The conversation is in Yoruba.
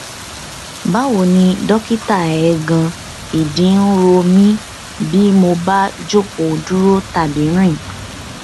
báwo ni dọkítà eegan ìdí ń ro mí bí mo bá jókòó dúró tàbí rìn